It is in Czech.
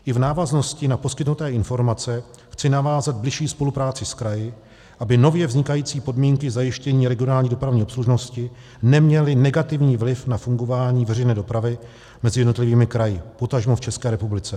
I v návaznosti na poskytnuté informace chci navázat bližší spolupráci s kraji, aby nově vznikající podmínky zajištění regionální dopravní obslužnosti neměly negativní vliv na fungování veřejné dopravy mezi jednotlivými kraji, potažmo v České republice.